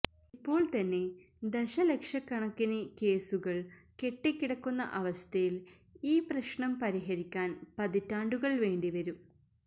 ഇപ്പോൾതന്നെ ദശലക്ഷക്കണക്കിന് കേസുകൾ കെട്ടിക്കിടക്കുന്ന അവസ്ഥയിൽ ഈ പ്രശ്നം പരിഹരിക്കാൻ പതിറ്റാണ്ടുകൾ വേണ്ടിവരും